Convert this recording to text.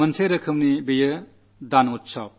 ഒരു തരത്തിൽ ഇതൊരു ദാനോത്സവമാണ്